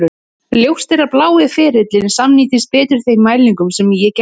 Ljóst er að blái ferillinn samrýmist betur þeim mælingum sem ég gerði.